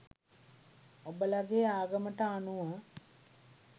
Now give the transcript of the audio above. ඔබලාගේ ආගමට අනුව